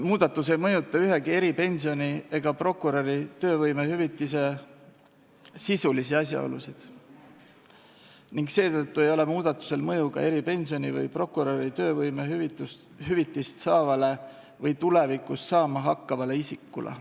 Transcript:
Muudatus ei mõjuta ühegi eripensioni ega prokuröri töövõimehüvitise sisulisi asjaolusid ning seetõttu ei ole muudatusel mõju ka eripensioni või prokuröri töövõimehüvitist saavale või tulevikus saama hakkavale isikule.